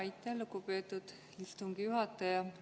Aitäh, lugupeetud istungi juhataja!